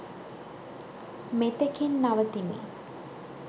මෙතෙකින් නවතිමි.